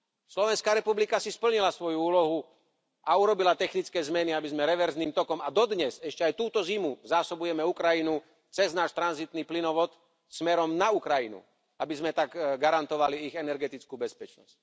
Slovenská republika si splnila svoju úlohu a urobila technické zmeny, aby sme reverzným tokom a dodnes, ešte aj túto zimu, zásobujeme Ukrajinu cez náš tranzitný plynovod smerom na Ukrajinu, aby sme tak garantovali ich energetickú bezpečnosť.